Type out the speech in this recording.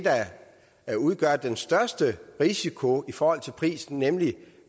der udgør den største risiko i forhold til prisen nemlig